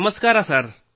ನಮಸ್ಕಾರ ಸರ್